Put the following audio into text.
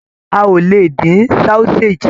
A ò lè dín sausage.